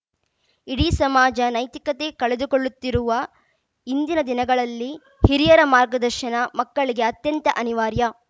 ಇಡೀ ಸಮಾಜ ನೈತಿಕತೆ ಕಳೆದುಕೊಳ್ಳುತ್ತಿರುವ ಇಂದಿನ ದಿನಗಳಲ್ಲಿ ಹಿರಿಯರ ಮಾರ್ಗದರ್ಶನ ಮಕ್ಕಳಿಗೆ ಅತ್ಯಂತ ಅನಿವಾರ್ಯ